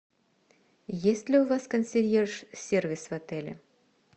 есть ли у вас консьерж сервис в отеле